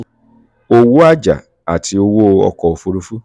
owó àjà àti owó ọkọ̀ òfuurufú